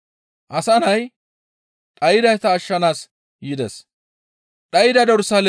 Asa Nay dhaydayta ashshanaas yides.